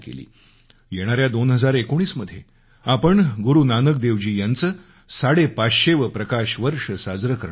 येणाऱ्या 2019 मध्ये आपण गुरु नानक देवजी यांचं साडेपाचशेवं प्रकाश वर्ष साजरं करणार आहोत